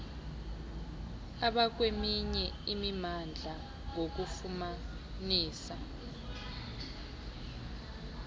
abakweminye imimandla ngokubafumanisa